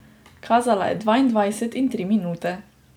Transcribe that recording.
Kazala je dvaindvajset in tri minute.